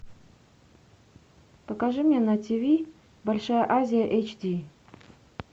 покажи мне на тв большая азия эйч ди